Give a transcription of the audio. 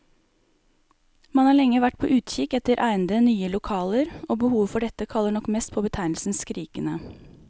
Man har lenge vært på utkikk etter egnede, nye lokaler, og behovet for dette kaller nok mest på betegnelsen skrikende.